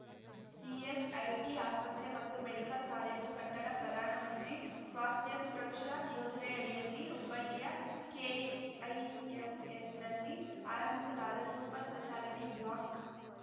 ESIT ಆಸ್ಪತ್ರೆ ಮತ್ತು medical college ಕಟ್ಟಡ ಪ್ರಧಾನ ಮಂತ್ರಿ ಸ್ವಾಸ್ಥ್ಯ ಸುರಕ್ಷಾ ಯೋಜನೆಯಡಿಯಲ್ಲಿ ಹುಬ್ಬಳ್ಳಿಯ ಕೆಐಎಂಎಸ್‌ನಲ್ಲಿ ಆರಂಭಿಸಲಾದ ಸೂಪರ್ ಸ್ಪೆಷಾಲಿಟಿ ಬ್ಲಾಕ್